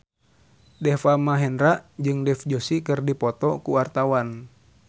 Deva Mahendra jeung Dev Joshi keur dipoto ku wartawan